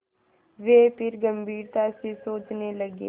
वे फिर गम्भीरता से सोचने लगे